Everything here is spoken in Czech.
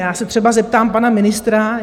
Já se třeba zeptám pana ministra.